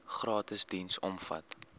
gratis diens omvat